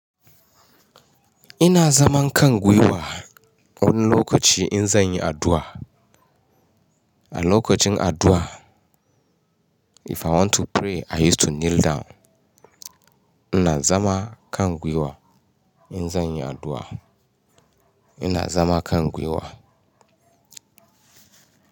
Ina zaman kangwiwa wurin lokaci in zan yi addu'a. A lokacin addu'a if I want to pray I used to kneel down. Ina zama kangwiwa in zan yi addu'a. Ina zama kangwiwa.